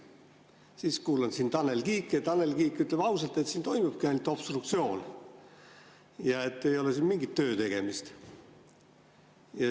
Siis kuulan siin Tanel Kiike, Tanel Kiik ütleb ausalt, et siin toimubki ainult obstruktsioon ja et ei ole siin mingit töötegemist.